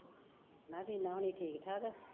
ਮੈਂ ਕਿਹਾ ਵੀਨਾ ਹੁਣੀ ਠੀਕ ਠਾਕ ਆ